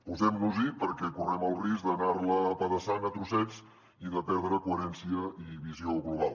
posem nos hi perquè correm el risc d’anar la apedaçant a trossets i de perdre coherència i visió global